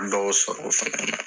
Dɔw sɔrɔ o fana na